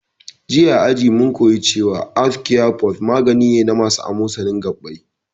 Jiya a aji mun koya cewa arthocare forte magani ne na masu amosanin gabbai